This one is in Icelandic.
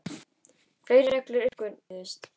Fleiri reglur uppgötvuðust.